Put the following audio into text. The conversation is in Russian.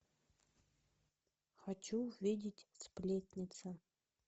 хочу увидеть сплетница